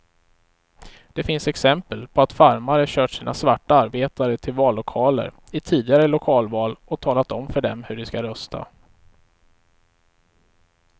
Det finns exempel på att farmare kört sina svarta arbetare till vallokaler i tidigare lokalval och talat om för dem hur de skall rösta.